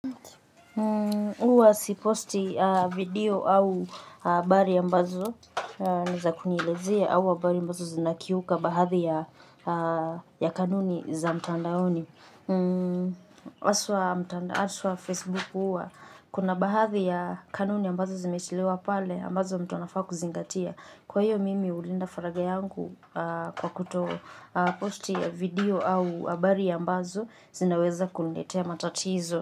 Uwa siposti video au habari ambazo niza kunielezea au habari ambazo zinakiuka baadhi ya kanuni za mtandaoni. Aswa Facebook, huwa kuna baadhi ya kanuni ambazo zimetiliwa pale ambazo mtu anafaa kuzingatia. Kwa hiyo mimi hulinda falagha yangu kwa kuto posti video au habari ambazo zinaweza kuniletea matatizo.